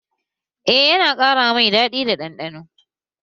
Eh, yana ƙara mai daɗi da ɗanɗano